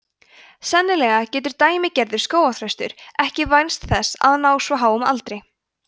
sennilega getur „dæmigerður“ skógarþröstur ekki vænst þess að ná svo háum aldri